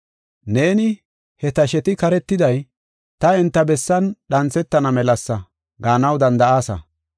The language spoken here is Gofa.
Neeni, “He tasheti karetiday, ta enta bessan dhanthetana melasa” gaanaw danda7aasa.